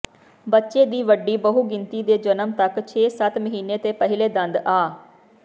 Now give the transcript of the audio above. ਬੱਚੇ ਦੀ ਵੱਡੀ ਬਹੁਗਿਣਤੀ ਦੇ ਜਨਮ ਤੱਕ ਛੇ ਸੱਤ ਮਹੀਨੇ ਤੇ ਪਹਿਲੇ ਦੰਦ ਆ